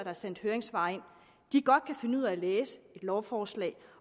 har sendt høringssvar ind godt kan finde ud af at læse et lovforslag